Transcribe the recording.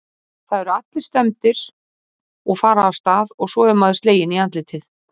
Það eru allir stemmdir og fara af stað og svo er maður sleginn í andlitið